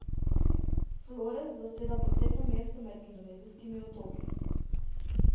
Flores zaseda posebno mesto med indonezijskimi otoki.